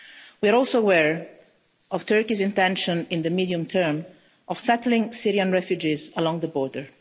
We are also aware of Turkey's intention, in the medium-term, of settling Syrian refugees along the border.